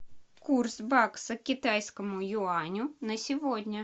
курс бакса к китайскому юаню на сегодня